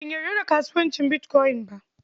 Ban yarda da kasuwancin bitkoyin ba.